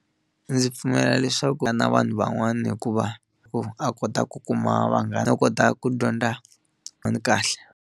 Ndzi pfumela leswaku na vanhu van'wana hikuva ku a kota ku kuma vanghana ta kota ku dyondza kahle.